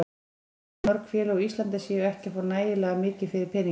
Ég tel að mörg félög á Íslandi séu ekki að fá nægilega mikið fyrir peninginn.